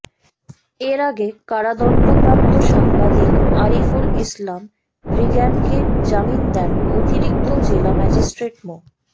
এর আগে কারাদণ্ডপ্রাপ্ত সাংবাদিক আরিফুল ইসলাম রিগ্যানকে জামিন দেন অতিরিক্ত জেলা ম্যাজিস্ট্রেট মো